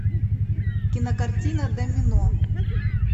кинокартина домино